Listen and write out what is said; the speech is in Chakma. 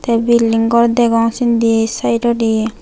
tey building gor degong sindi saidodi.